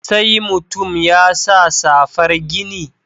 Sai mutum ya sa safar gini?